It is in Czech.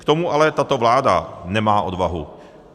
K tomu ale tato vláda nemá odvahu.